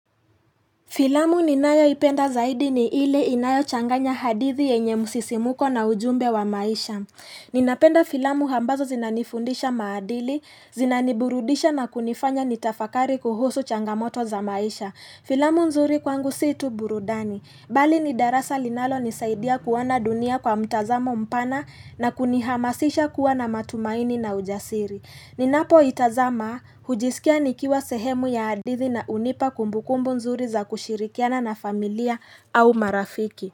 Filamu ninayoipenda zaidi ni ile inayo changanya hadithi yenye msisimuko na ujumbe wa maisha. Ninapenda filamu hambazo zinanifundisha maadili, zinaniburudisha na kunifanya nitafakari kuhusu changamoto za maisha. Filamu nzuri kwangu si tu burudani. Bali ni darasa linalo nisaidia kuana dunia kwa mtazamo mpana na kunihamasisha kuwa na matumaini na ujasiri. Ninapo itazama hujiskia nikiwa sehemu ya hadithi na hunipa kumbukumbu nzuri za kushirikiana na familia au marafiki.